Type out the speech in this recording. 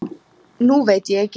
Nú veit ég ekki.